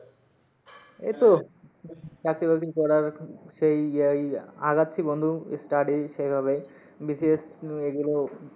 এই তো চাকরি বাকরি করার, সেই ইয়াই আগাচ্ছি বন্ধু study সেইভাবে BCS এইগুলো